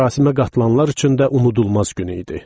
Mərasimə qatılanlar üçün də unudulmaz gün idi.